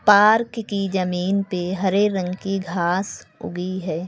Park की जमीन पे हरे रंग की घास उगी है।